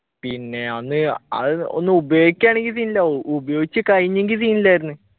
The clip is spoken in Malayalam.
പിന്നെ അന്ന് അത് ഒന്ന് ഉപയോഗിക്കാണെങ്കി scene ഇല്ല ഉ ഉപയോഗിചു കഴിഞ്ഞെങ്കി scene ഇല്ലായിരുന്ന്